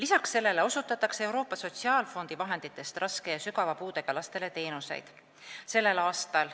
Peale selle osutatakse Euroopa Sotsiaalfondi vahenditest teenuseid raske ja sügava puudega lastele.